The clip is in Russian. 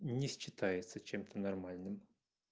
не считается чем-то нормальным